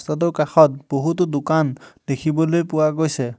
কাষত বহুতো দোকান দেখিবলৈ পোৱা গৈছে।